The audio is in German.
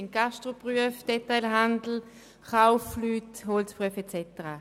Es handelt sich um Gastroberufe, Detailhandel, Kaufleute, Holzberufe und so weiter.